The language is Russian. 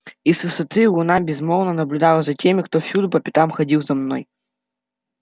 и с высоты луна безмолвно наблюдала за теми кто всюду по пятам ходил за мной